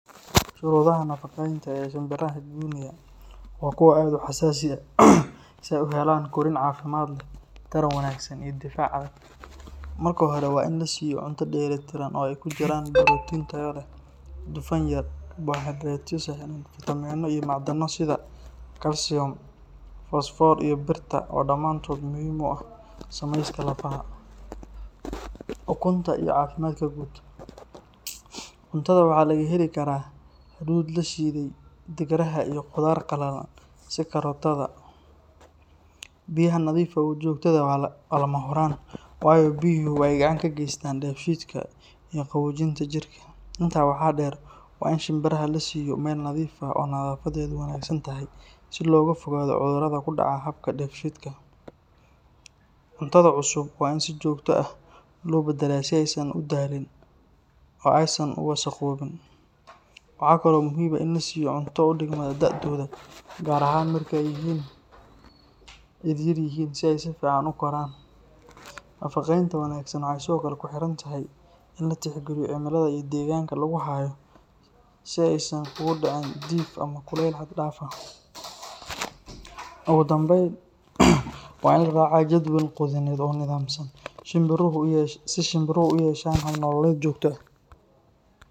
Shuruudaha nafaqeynta muhiimka ah ee shimbiraha guinea waa kuwo aad u xasaasi ah si ay u helaan korriin caafimaad leh, taran wanaagsan iyo difaac adag. Marka hore, waa in la siiyo cunto dheelli tiran oo ay ku jiraan borotiin tayo leh, dufan yar, karbohaydaraytyo sahlan, fiitamiinno iyo macdano sida kalsiyum, fosfoor, iyo birta oo dhammaantood muhiim u ah samayska lafaha, ukunta iyo caafimaadka guud. Cuntada waxaa laga heli karaa hadhuudh la shiiday, digiraha, iyo khudaar qallalan sida karootada. Biyaha nadiif ah oo joogto ah waa lama huraan waayo biyuhu waxay gacan ka geystaan dheefshiidka iyo qaboojinta jirka. Intaa waxaa dheer, waa in shimbiraha la siiyo meel nadiif ah oo nadaafaddeedu wanaagsan tahay, si looga fogaado cudurrada ku dhaca habka dheefshiidka. Cuntada cusub waa in si joogto ah loo beddelaa si aysan u daalin oo aysan u wasakhoobin. Waxaa kale oo muhiim ah in la siiyo cunto u dhigma da’dooda, gaar ahaan marka ay yaryihiin si ay si fiican u koraan. Nafaqeynta wanaagsan waxay sidoo kale ku xirantahay in la tixgeliyo cimilada iyo deegaanka lagu hayo, si aysan ugu dhicin diif ama kulayl xad dhaaf ah. Ugu dambayn, waa in la raacaa jadwal quudineed oo nidaamsan si shimbiruhu u yeeshaan hab nololeed joogto ah.